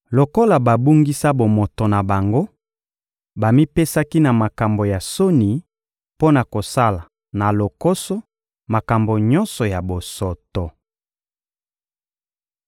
Lokola babungisa bomoto na bango, bamipesaki na makambo ya soni mpo na kosala na lokoso makambo nyonso ya bosoto.